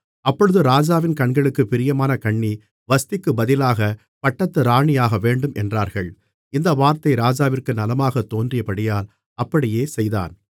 அப்பொழுது ராஜாவின் கண்களுக்குப் பிரியமான கன்னி வஸ்திக்கு பதிலாகப் பட்டத்து ராணியாகவேண்டும் என்றார்கள் இந்த வார்த்தை ராஜாவிற்கு நலமாகத் தோன்றியபடியால் அப்படியே செய்தான்